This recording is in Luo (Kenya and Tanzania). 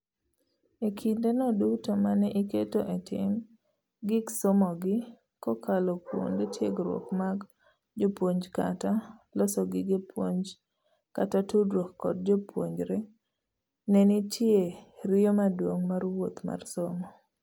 Ekinde no duto mane iketo etim gik somogi kokalo kuonde tiegruok mag jopuonj kata ,loso gige puonj kata tudruok kod jopuonjre nenitie riyo maduong' mar wuoth mar somo.